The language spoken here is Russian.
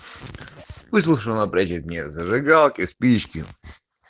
напротив меня зажигалки и спички